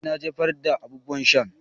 Eh na jefar da abubuwan sha.